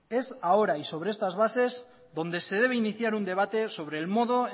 es ahora y sobre estas bases donde se debe iniciar un debate sobre el modo